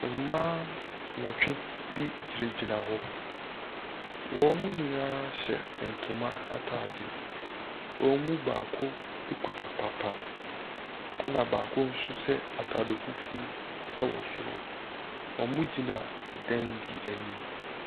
Mmaa nwɔtwe bi gyina gyina hɔ. Wɔn mo nyinaa hyɛ ntoma ataade. Wɔn mu baako ekura papa. Ɛna baako nso hyɛ ataade fufuw ɛwɔ soro. Ɔmo gyina ɛdan bi anim.